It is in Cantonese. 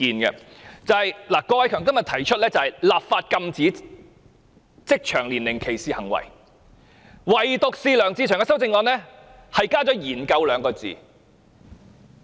郭偉强議員的議案提出"立法禁止職場年齡歧視行為"，但梁志祥議員的修正案加上"研究 "2 字。